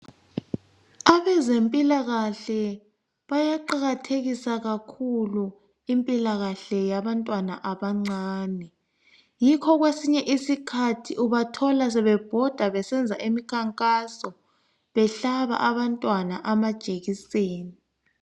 Abezempilakahle bayaqakathekisa kakhulu impilakahle yabantwana abancane. Yikho kwesinye isikhatni ubathola, sebebhoda. besenza imikhankaso. Behlaba, abantwana amajekiseni.